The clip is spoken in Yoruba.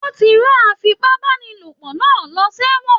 Wọn tí rán afipabanilopo náà lọ ṣ'ewọn